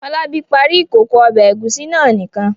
Fọlábí parí ìkókó ọbẹ̀ ẹ̀gúsí náà nìkan.